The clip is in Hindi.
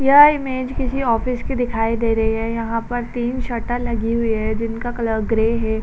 यह इमेज किसी ऑफिस की दिखाई दे रही है। यहां पर तीर शटर लगी हुई हैं जिनका कलर ग्रे है।